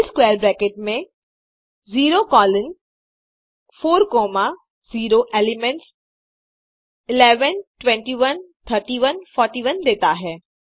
सी square bracket में 0 colon 4 comma 0 elements 11 21 31 41 देता है